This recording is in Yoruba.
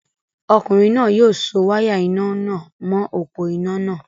Ọkùnrin náà yóò so wáyà iná nà mọ̀ọ́ òpó-iná náà